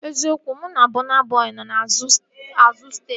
Eziokwu, mụ na Bọna Bọi nọ n'azụ steeji